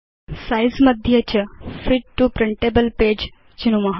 size मध्ये च fit to printable page चिनुम